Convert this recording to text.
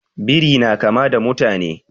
Biri na kama da mutane